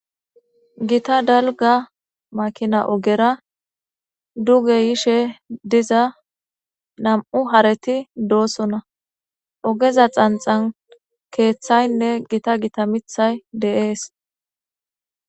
gita dalga makina ogera duge yishe diza nam'u hareti doosona ogeza xanxan keeththaynne gita gita mithay de'ees